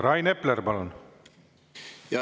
Rain Epler, palun!